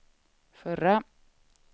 förra